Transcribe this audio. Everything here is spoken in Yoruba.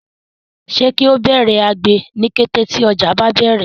se kio Bẹrẹ àgbè ní kété tí ojo bá bẹrẹ?